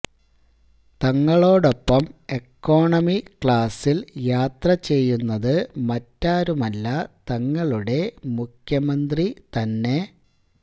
തങ്ങളോടൊപ്പം economy ക്ലാസില് യാത്രചെയ്യുന്നത് മറ്റാരുമല്ല തങ്ങളുടെ മുഖ്യമന്ത്രി തന്നെ